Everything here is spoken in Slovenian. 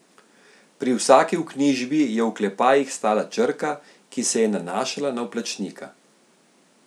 Pri vsaki vknjižbi je v oklepajih stala črka, ki se je nanašala na vplačnika.